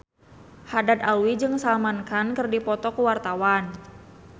Haddad Alwi jeung Salman Khan keur dipoto ku wartawan